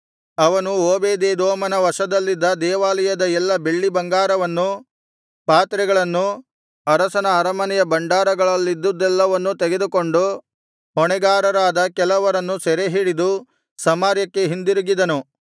ಅವನು ಓಬೇದೆದೋಮನ ವಶದಲ್ಲಿದ್ದ ದೇವಾಲಯದ ಎಲ್ಲ ಬೆಳ್ಳಿಬಂಗಾರವನ್ನು ಪಾತ್ರೆಗಳನ್ನು ಅರಸನ ಅರಮನೆಯ ಭಂಡಾರಗಳಲ್ಲಿದ್ದುದೆಲ್ಲವನ್ನು ತೆಗೆದುಕೊಂಡು ಹೊಣೆಗಾರರಾದ ಕೆಲವರನ್ನು ಸೆರೆ ಹಿಡಿದು ಸಮಾರ್ಯಕ್ಕೆ ಹಿಂದಿರುಗಿದನು